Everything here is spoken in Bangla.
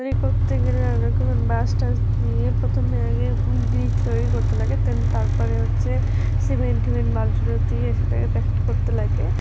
তৈ্রি করতে গেলে বাঁশ টাস দিয়ে প্রথমে আগে ব্রিজ -উ তৈরি করতে লাগে তান তারপরে হচ্ছে সিমেন্ট টীমেণ্ট বালূ টালূ দিয়ে সেটাকে প্যাকে -ট করতে লাগে।